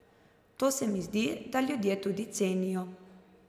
To se mi zdi, da ljudje tudi cenijo.